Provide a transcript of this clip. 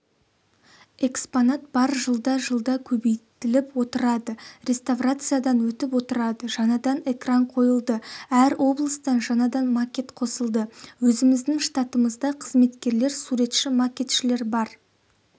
экспонат бар жылда-жылда көбейтіліп отырады реставрациядан өтіп отырады жаңадан экран қойылды әр облыстан жаңадан макет қосылды өзіміздің штатымызда қызметкерлер суретші-макетшілер бар